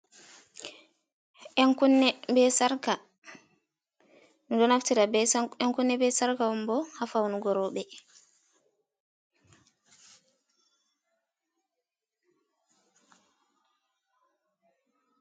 Yan kunne be sarka. Min ɗo naftira ɓe yan kunne, ɓe sarka on ɓo ha faunugo roɓe.